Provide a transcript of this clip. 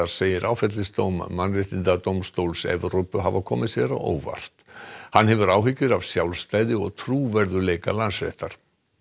segir áfellisdóm Mannréttindadómstóls Evrópu hafa komið sér á óvart hann hefur áhyggjur af sjálfstæði og trúverðugleika Landsréttar